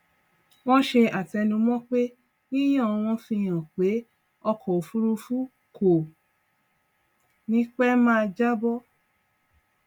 wọn ṣe àtẹnumọ pé yíyan wọn fi hàn pé ọkọ òfúrúfú kò ní pẹ máa jábọ